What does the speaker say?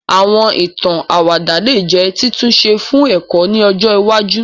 Àwọn ìtàn àwàdà lè jẹ́ títúnṣe fún ẹ̀kọ́ ni ọjọ iwájú